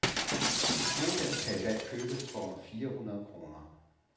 Et modem kan i dag købes for under fire hundrede kroner.